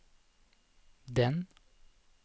den